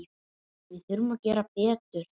Við þurfum að gera betur.